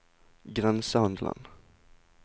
grensehandelen